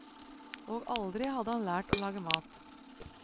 Og aldri hadde han lært å lage mat.